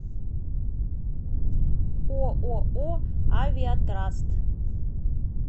ооо авиатраст